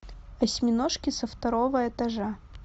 осьминожки со второго этажа